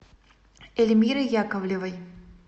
эльмиры яковлевой